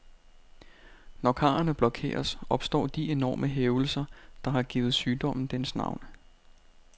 Når karrene blokeres, opstår de enorme hævelser, der har givet sygdommen dens navn.